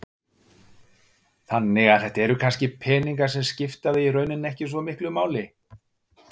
Þannig að þetta eru kannski peningar sem skipta þig í rauninni ekki svo miklu máli?